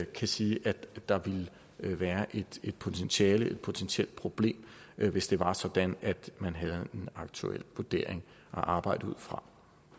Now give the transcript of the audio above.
kan siges at der ville være et potentielt potentielt problem hvis det var sådan at man havde en aktuel vurdering at arbejde ud fra